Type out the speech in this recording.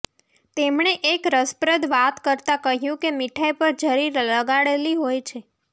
તેમણે એક રસપ્રદ વાત કરતાં કહ્યું કે મીઠાઈ પર જરી લગાડેલી હોય છે